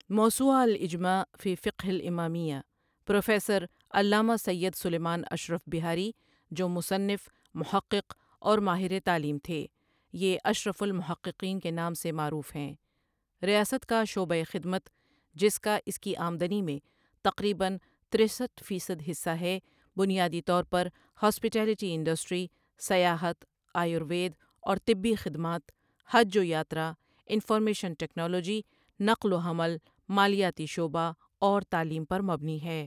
موسوعۃ الاجماع فى فقہ الامامیۃ، پروفیسر علامہ سیّد سلیمان اشرف بہاری جو مصنف محقق اور ماہر تعلیم تھے یہ ا شرف المحققین کے نام سے معروف ہیں ریاست کا شعبۂ خدمت جس کا اس کی آمدنی میں تقریباً ترستھ فیصد حصہ ہے بنیادی طور پرہاسپیٹیلیٹی انڈسٹری، سیاحت، آیوروید اور طبی خدمات، حج و یاترا، انفارمیشن ٹیکنالوجی، نقل و حمل، مالیاتی شعبہ اور تعلیم پر مبنی ہے۔